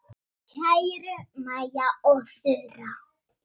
Kæru Maja og Þura.